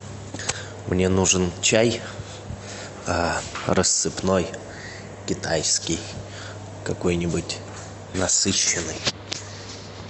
мне нужен чай рассыпной китайский какой нибудь насыщенный